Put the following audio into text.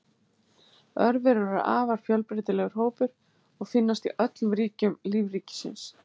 Örverur eru afar fjölbreytilegur hópur og finnast í öllum ríkjum lífríkisins.